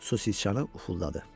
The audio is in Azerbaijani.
Su siçanı ufuldadı.